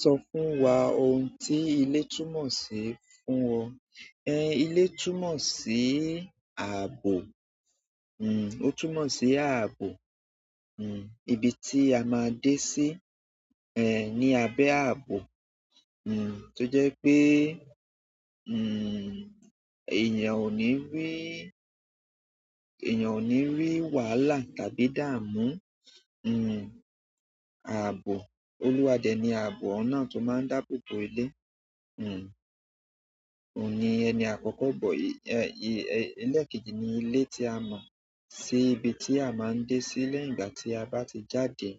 Sọ fún wa ohun tí ilé túmọ̀ sí fún ọ. Ẹn, ilé túmọ̀ sí ààbò. Hmm, ó túmọ̀ sí ààbò. Hm, ibi tí a máa dẹ sí, ẹ́, ní abẹ́ ààbò. Hm to je wípé eyan o ni ri, eyan o ni ri wàhálà tàbí idamu. Hmm, ààbò. Olúwadéni ààbò náà tó máa ń dáàbò bo ilé. Hmm, òní ẹni àkọ́kọ́ bọ, ẹ́, ẹ́, ilé kejì ni ilé tí a mọ̀ sí ibi tí a máa ń dé sí lẹ́yìn ìgbà tí a bá ti jáde.